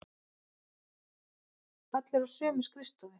Allir á sömu skrifstofu.